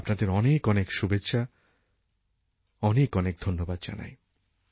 আপনাদের অনেক অনেক শুভেচ্ছা ও অনেক অনেক ধন্যবাদ জানাই